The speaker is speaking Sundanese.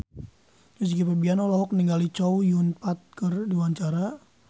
Rizky Febian olohok ningali Chow Yun Fat keur diwawancara